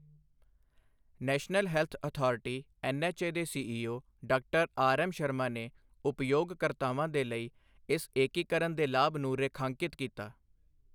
National health authority NHA ਦੇ CEO ਡਾ. RM Sharma ਨੇ ਉਪਯੋਗਕਰਤਾਵਾਂ ਦੇ ਲਈ ਇਸ ਏਕੀਕਰਨ ਦੇ ਲਾਭ ਨੂੰ ਰੇਖਾਂਕਿਤ ਕੀਤਾ।